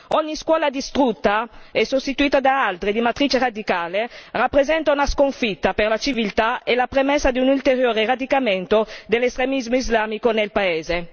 Ogni scuola distrutta e sostituita da altre di matrice radicale rappresenta una sconfitta per la civiltà e la premessa di un ulteriore radicamento dell'estremismo islamico nel paese.